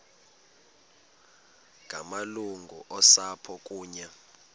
ngamalungu osapho kunye